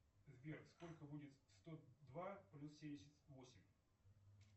сбер сколько будет сто два плюс семьдесят восемь